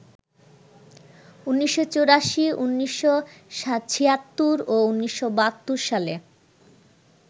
১৯৮৪, ১৯৭৬ ও ১৯৭২ সালে